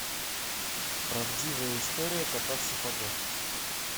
правдивая история кота в сапогах